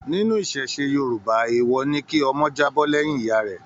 Nínú iṣẹṣe Yorùbá, èèwọ̀ ni kí ọmọ jábọ́ lẹ́yìn ìyá rẹ.